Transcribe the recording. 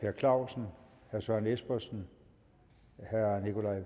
per clausen herre søren espersen